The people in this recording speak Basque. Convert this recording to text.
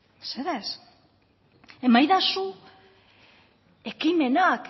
mesedez emaidazu ekimenak